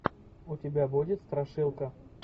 у тебя будет страшилка